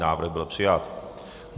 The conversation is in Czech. Návrh byl přijat.